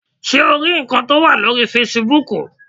Ṣé o rí ǹkan tó wà lórii fesibúùkù?